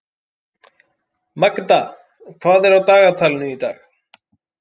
Magda, hvað er á dagatalinu í dag?